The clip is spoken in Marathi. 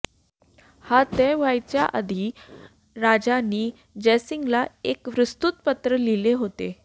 हा तह व्हायच्या आधी राजांनी जयसिंगला एक विस्तृत पत्र लिहिले होते